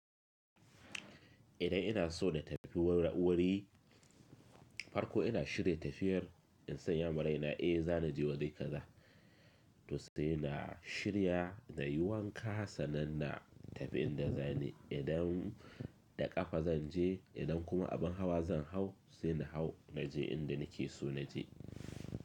Idan ina so da tafiya wurare, farko ina shirya tafiyar in san ya maraina, eh zan je waje kaza. To sai na shirya na yi wanka sannan na tafi inda zani. Idan da ƙafa zan je, idan kuma abin hawa zan hau, sai na hau naje inda nake so naje.